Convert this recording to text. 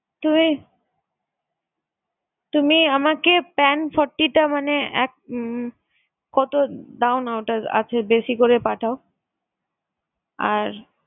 তুমি তুমি আমাকে pan forty টা মানে এক উম কত দাওনা ওটার আছে বেশি করে পাঠাও। আর